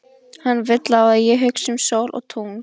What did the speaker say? Hann vill að ég hugsi um sól og tungl.